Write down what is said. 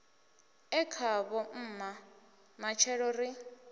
e khavho mma matshelo ri